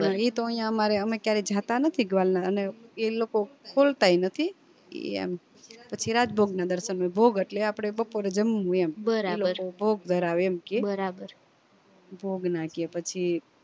પણ ઈ તો અયા અમારે કેમ અમે ક્યારે જતા નથી ગ્વાલ અને ઈ લોકો ખોલતાય નથી ઈ એમ પછી રાજભોગ ના દર્શન હોય ભોગ અટલે આપડે બપોરે જમવું એમ એ લોકો ભોગ ધરાવે એમ કે ભોગ ના કે પછી